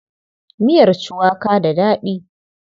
Miyar cuwaka da daɗi.